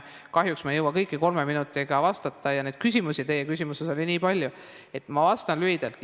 Kahjuks ei jõua ma kõigele kolme minutiga vastata ja neid küsimusi teie küsimuses oli nii palju, et ma vastan lühidalt.